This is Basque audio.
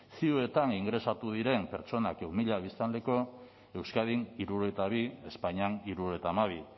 ziutan ingresatu diren pertsonak ehun mila biztanleko euskadin hirurogeita bi espainian hirurogeita hamabi